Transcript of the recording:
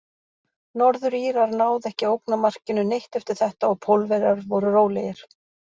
Norður-Írar náðu ekki að ógna markinu neitt eftir þetta og Pólverjar voru rólegir.